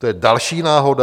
To je další náhoda?